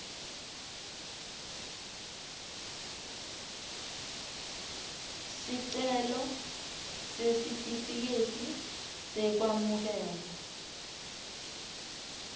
sicelo sesitifiketi sekwamukelwa